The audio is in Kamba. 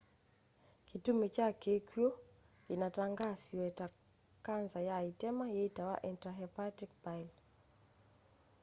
kitumi kya kikwu kinatangaasiwe ta kanza ya itema yitawa intrahepatic bile